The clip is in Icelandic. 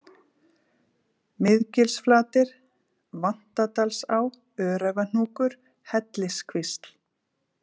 Miðgilsflatir, Vantadalsá, Öræfahnúkur, Helliskvísl